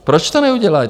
Proč to neudělají?